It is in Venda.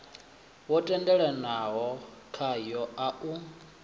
wo tendelanwaho khawo a u